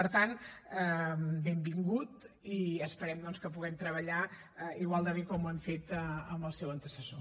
per tant benvingut i esperem doncs que puguem treballar igual de bé com ho hem fet amb el seu antecessor